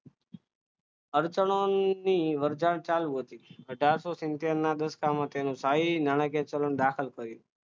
આર્ચાનોની અરજણ ચારર્સો દસકામાં તેનો સ્થાયી નાણાકીય ચલણ દાખલ કર્યું